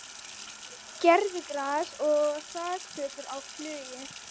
Gervigras og þakplötur á flugi